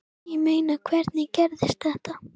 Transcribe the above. Ég meina, hvernig gerðist þetta?